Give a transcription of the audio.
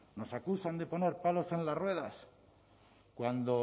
nos acusan de poner palos en las ruedas cuando